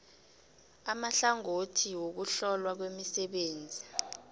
amahlangothi wokuhlolwa kwemisebenzi